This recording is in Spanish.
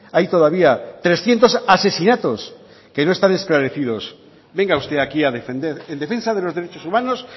hay todavía trescientos asesinatos que no están esclarecidos venga usted aquí a defender en defensa de los derechos humanos